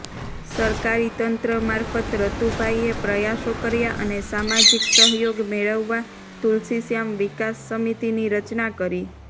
સરકારી તંત્ર મારફત રતુભાઇએ પ્રયાસો કર્યા અને સામાજીક સહયોગ મેળવવા તુલસીશ્યામ વિકાસ સમિતીની રચના કરી